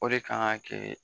O de kan ka kɛ